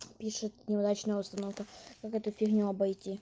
пишет неудачная установка как эту фигню обойти